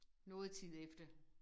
Noget tid efter